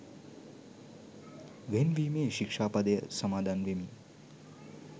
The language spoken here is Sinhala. වෙන් වීමේ ශික්‍ෂා පදය සමාදන් වෙමි.